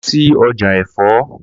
Lọ sí ọjà ẹ̀fọ́!